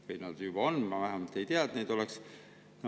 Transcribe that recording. Või nad juba on, mina vähemalt ei tea, et neid oleks.